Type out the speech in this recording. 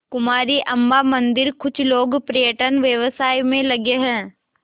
कुमारी अम्मा मंदिरकुछ लोग पर्यटन व्यवसाय में लगे हैं